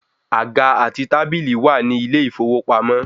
Àga àti tábílì wà ní ilé ìfowópamọ́